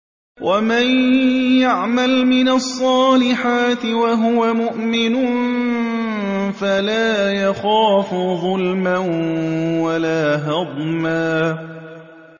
وَمَن يَعْمَلْ مِنَ الصَّالِحَاتِ وَهُوَ مُؤْمِنٌ فَلَا يَخَافُ ظُلْمًا وَلَا هَضْمًا